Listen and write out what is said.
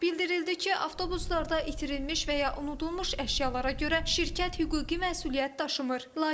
Bildirildi ki, avtobuslarda itirilmiş və ya unudulmuş əşyalara görə şirkət hüquqi məsuliyyət daşımır.